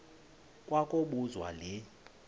kwa kobuzwa le